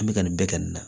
An bɛ ka nin bɛɛ kɛ nin na